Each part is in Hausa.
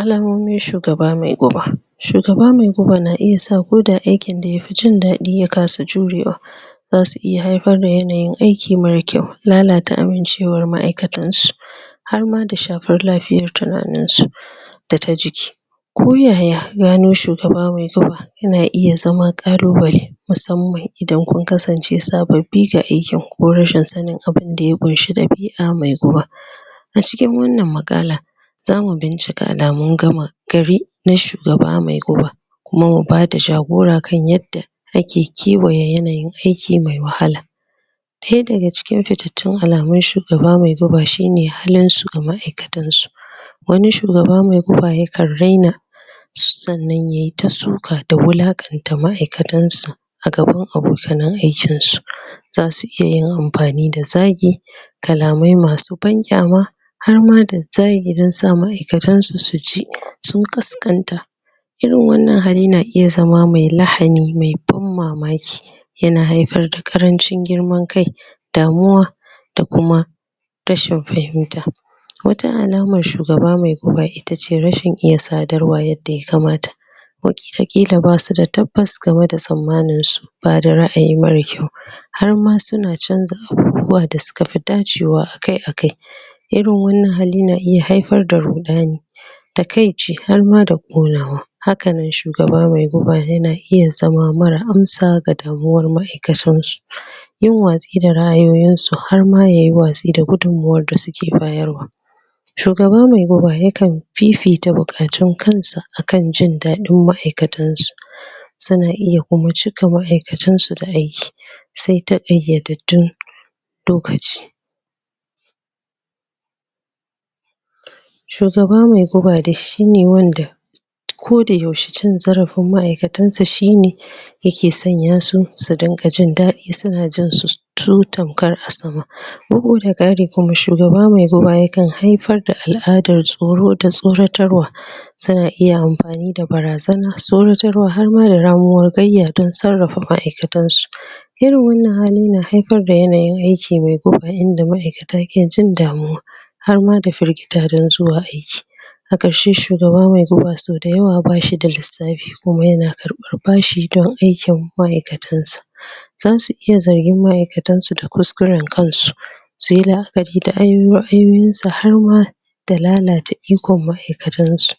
Allamomin shugaba mai guba shugaba mai guba na iya sa ko da aiki da ya fin jindadi ya kasa jurewa za su iya haifar da yanayin aiki mara kyau lallata amincewar maaikatan su har ma da shafan lafiyar tunanin su da ta jiki ko yaya, gano shugaba mai guba ya na iya zama kallubale musamman idan kun kasance sabbobi ga aikin ko rashin sanin abunda ya kunshi da dabia mai ruwa A cikin wannan makalla za mu bincika alamun gama gari na shugaba mai ruwa kuma mu ba da jagora kan yadda ake kewaya yanayin aiki mai wahala daya da ga cikin fittatun alamun shugaba mai guba shi ne halin su ga maiaikatan su wanni shugaba mai guba ya kan raina tsannan yayi ta tsuka da wulakanta da maaikatan sa a gaban abokanai aikin su zasu iya yin amfani da zagi kallamai ma su ban kiama har ma da zagirin sa maaikatan su, su ji sun ƙaskanta irin wannan hali na iya zama mai lahani mai ban mamaki ya na haifar da karancin girman kai damuwa da kuma rashin fahimta Wata alamar shugaba mai guba, itace rashin iya sadarwa yadda ya kamata watakilla ba su da tabbas game da tsamanin su ba da raayi mara kyau, har ma su na canza abubuwa da su ka fi dacewa akai-akai irin wannan hali na iya haifar da rudani takai ce har ma da konawa haka nan shugaba mai guba ya na iya zama mara amsa ga damuwar maaikatar su Yun wa sai da raayoyin su har ma yayi waazi da gudumuwar da su ke bayarwa shugaba mai guba ya kan fifita bukatun kan sa, akan jindadin maaikatan su su na iya kuma cika maaikatan su da aiki sai ta iya-dattun lokaci. Shugaba mai guba da shi ne wanda ko da yaushe cin zarafin maaikatan sa shi ne ya ke sanya susu dinga jindadi su na jin susutan kar a sama ruhu da gadi kuma shugaba mai guba ya kan hafar da aladar tsoro da tsoratar wa su na iya amfani da barazana tsoratarwa harma da ramuwar dan tsarafa maaikatan su. Irin wannan hali na haifar da yanayin aiki mai guba inda maaikata ke jin damuwa har ma da firgita dan zuwa aiki haka shi shugaba mai guba so dayawa bashi da lisafi kuma yana karban bashi dan aikin maaikatan sa za su iya zargin maaikatan su da kuskuren kan su su yi laakari da anyi ruwa, hanyoyi sa har ruwa da lalata ikon maaikatan su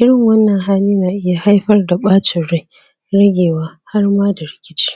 irin wannan hali na iya haifar da bacin rai ragewa har ma da rikici.